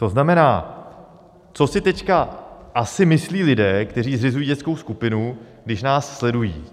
To znamená, co si teď asi myslí lidé, kteří zřizují dětskou skupinu, když nás sledují?